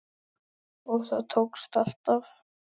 Og það tókst alltaf.